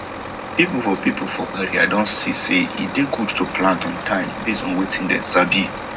people for people for area don see say e dey good to plant on time based on wetin dem sabi